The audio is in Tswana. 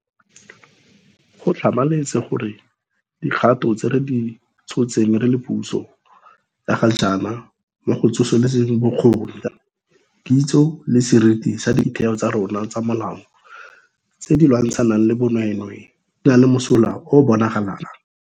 Go tlhamaletse gore dikgato tse re di tshotseng re le puso ya ga jaana mo go tsosoloseng bokgoni, kitso le seriti sa ditheo tsa rona tsa molao tse di lwantshanang le bonweenwee di na le mosola o o bonagalang.